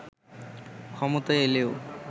ক্ষমতায় এলেও